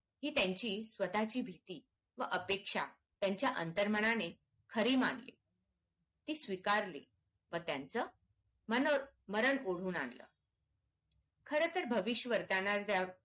हि त्यांची स्वतःची भीती व अपेक्षा त्यांच्या अंतरमनाने खरी मानली ती स्वीकारली व त्यांचं मर मरण ओढवून आणलं खर तर भविष्य वर्तनाच्या